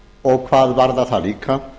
og hvað varðar það líka